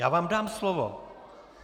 Já vám dám slovo.